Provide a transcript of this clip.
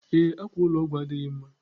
Ee, akwa ụlọ ọgwụ adịghị mma.